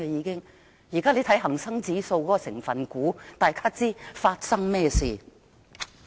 請看看現時恒生指數的成分股，大家便心中有數。